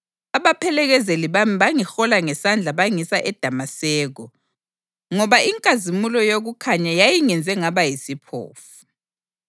Abaphelekezeli bami bangihola ngesandla bangisa eDamaseko ngoba inkazimulo yokukhanya yayingenze ngaba yisiphofu.